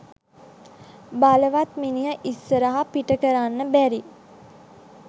බලවත් මිනිහ ඉස්සරහ පිටකරන්න බැරි